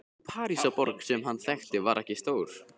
Sú Parísarborg sem hann þekkti var ekki stór.